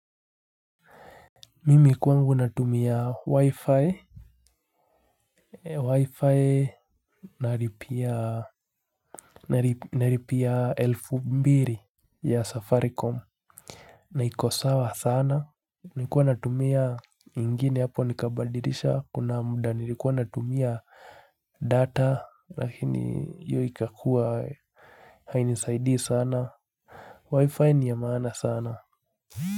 Mimi kwangu natumia wi-fi, wi-fi nalipia elfu mbili ya safaricom na iko sawa sana, nilikuwa natumia ingine hapo nikabadilisha, kuna muda nilikuwa natumia data lakini hiyo ikakuwa hainisaidii sana wi-fi ni ya maana sana.